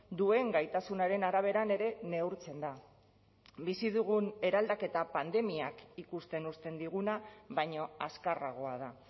duen gaitasunaren araberan ere neurtzen da bizi dugun eraldaketa pandemiak ikusten uzten diguna baino azkarragoa da